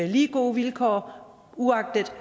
lige gode vilkår uagtet